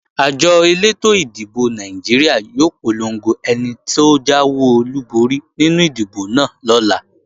Àjọ elétò ìdìbò Nàìjíríà yóò polongo ẹni tó jáwé olúborí nínú ìdìbò náà lọ́la